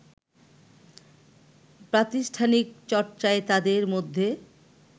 প্রাতিষ্ঠানিক চর্চায় তাদের মধ্যে